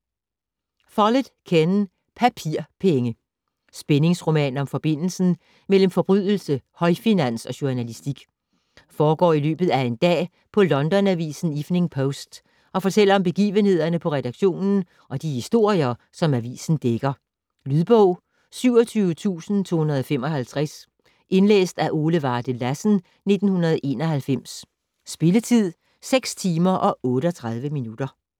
Follett, Ken: Papirpenge Spændingsroman om forbindelsen mellem forbrydelse, højfinans og journalistik. Foregår i løbet af en dag på Londonavisen "Evening Post" og fortæller om begivenhederne på redaktionen og i de historier, som avisen dækker. Lydbog 27255 Indlæst af Ole Varde Lassen, 1991. Spilletid: 6 timer, 38 minutter.